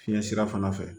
Fiɲɛ sira fana fɛ